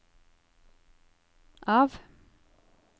av